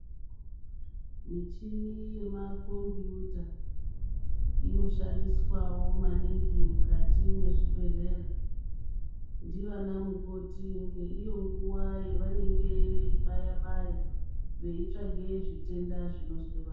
Michini yemakombuyuta inoshandiswa wo maningi mukati mezvibhedhlera ndivana mukoti ngeiyonguva yavanenge veyi baya baya veitsvake zvitenda zvinozwwe vantu.